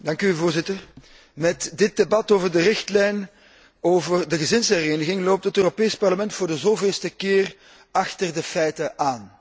Voorzitter, met dit debat over de richtlijn over de gezinshereniging loopt het Europees Parlement voor de zoveelste keer achter de feiten aan.